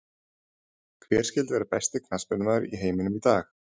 Hver skyldi vera besti knattspyrnumaður í heiminum í dag?